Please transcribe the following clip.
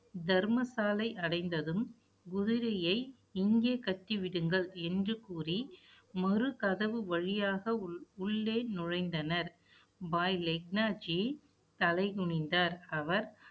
தர்மசாலை அடைந்ததும், குதிரையை, இங்கே கட்டி விடுங்கள் என்று கூறி, மறு கதவு வழியாக உள்~ உள்ளே நுழைந்தனர் பாய் லெக்னாஜி தலை குனிந்தார். அவர்